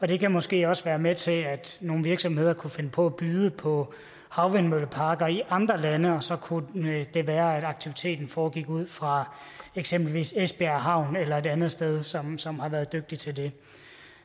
det kan måske også være med til at nogle virksomheder kunne finde på at byde på havvindmølleparker i andre lande og så kunne det være at aktiviteten foregik ud fra eksempelvis esbjerg havn eller et andet sted som som har været dygtige til det